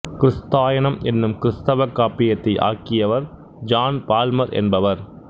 கிறிஸ்தாயனம் என்னும் கிறித்தவக் காப்பியத்தை ஆக்கியவர் ஜான் பால்மர் என்பவர்